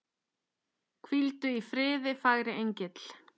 Hvíldu í friði, fagri engill.